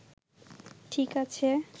ঠিক আছে